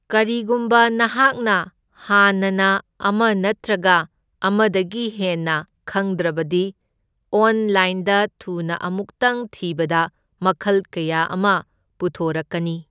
ꯀꯔꯤꯒꯨꯝꯕ ꯅꯍꯥꯛꯅ ꯍꯥꯟꯅꯅ ꯑꯃ ꯅꯠꯇ꯭ꯔꯒ ꯑꯃꯗꯒꯤ ꯍꯦꯟꯅ ꯈꯪꯗ꯭ꯔꯕꯗꯤ, ꯑꯣꯟꯂꯥꯏꯟꯗ ꯊꯨꯅ ꯑꯃꯨꯛꯇꯪ ꯊꯤꯕꯗ ꯃꯈꯜ ꯀꯌꯥ ꯑꯃ ꯄꯨꯊꯣꯔꯛꯀꯅꯤ꯫